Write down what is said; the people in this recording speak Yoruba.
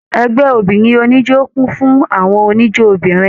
Ẹgbẹ obìnrin oníjó kún fún àwọn oníjó obìnrin.